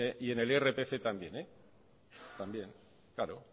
y en el irpf también también claro